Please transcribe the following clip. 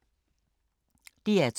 DR2